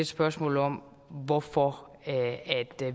spørgsmål om hvorfor